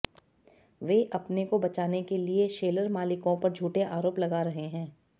वे अपने को बचाने के लिए शैलर मालिकों पर झूठे आरोप लगा रहे हैं